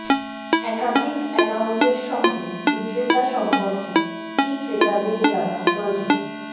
একাধিক একাউন্টের সঙ্গে বিক্রেতা সম্পর্কে কি ক্রেতাদের জানা প্রয়োজন